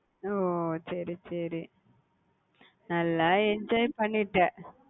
ஓஹ் சரி சரி நல்லா enjoy பண்ணிட்ட